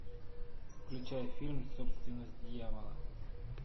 включай фильм собственность дьявола